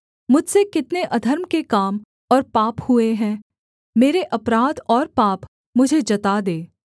मुझसे कितने अधर्म के काम और पाप हुए हैं मेरे अपराध और पाप मुझे जता दे